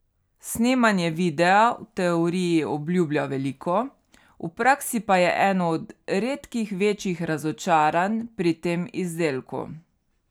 Snemanje videa v teoriji obljublja veliko, v praksi pa je eno od redkih večjih razočaranj pri tem izdelku.